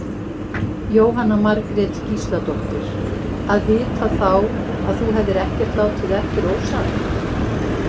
Jóhanna Margrét Gísladóttir: Að vita þá að þú hefðir ekkert látið eftir ósagt?